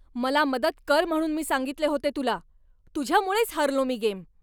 मला मदत कर म्हणून मी सांगितले होते तुला! तुझ्यामुळेच हारलो मी गेम!